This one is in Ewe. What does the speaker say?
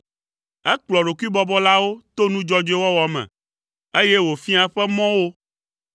Ekplɔa ɖokuibɔbɔlawo to nu dzɔdzɔe wɔwɔ me, eye wòfiaa eƒe mɔ wo.